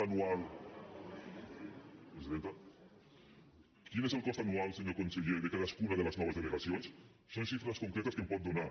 quin és el cost anual senyor conseller de cadascuna de les noves delegacions són xifres concretes que em pot donar